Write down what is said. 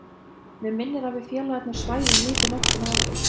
Mig minnir að við félagarnir svæfum lítið nóttina áður.